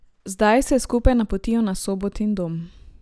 Zdaj se skupaj napotijo na Sobotin dom.